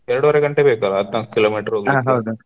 ಎರ್ಡೂವರೆ ಗಂಟೆ ಬೇಕಾ ಹದ್ನಾಲ್ಕ kilo meter ಹೋಗ್ಲಿಕೆ .